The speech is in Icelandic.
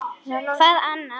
Hvað annað?